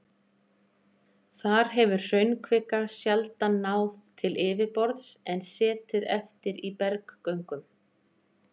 Þar hefur hraunkvika sjaldan náð til yfirborðs en setið eftir í berggöngum.